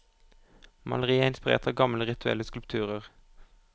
Maleriet er inspirert av gamle, rituelle skulpturer.